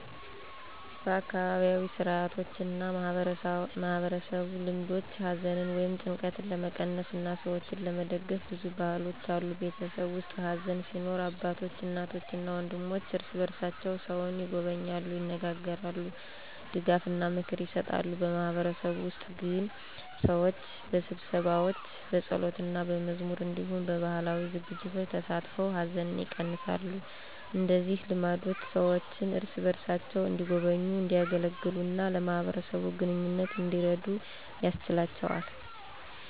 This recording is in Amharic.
በአካባቢያዊ ሥርዓቶችና በማህበረሰብ ልማዶች ሐዘንን ወይም ጭንቀትን ለመቀነስ እና ሰዎችን ለመደግፍ ብዙ ባህሎች አሉ። በቤተሰብ ውስጥ ሐዘን ሲኖር አባቶች፣ እናቶች እና ወንድሞች እርስ በርሳቸው ሰውን ይጎበኛሉ፣ ይነጋገራሉ፣ ድጋፍና ምክር ይሰጣሉ። በማህበረሰብ ውስጥ ግን ሰዎች በስብሰባዎች፣ በጸሎትና በመዝሙር እንዲሁም በባህላዊ ዝግጅቶች ተሳትፈው ሐዘንን ይቀነሳሉ። እንደዚህ ልማዶች ሰዎችን እርስ በርሳቸው እንዲጎበኙ፣ እንዲያገለግሉ እና ለማህበረሰብ ግንኙነት እንዲረዱ ያስችላቸዋል።